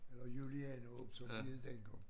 Eller Julianehåb som det hed dengang